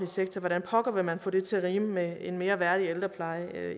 sektor hvordan pokker vil man få det til at rime med en mere værdig ældrepleje det er